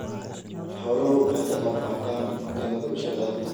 Xooluhu waxay ka qaybqaataan cuntada bulshada.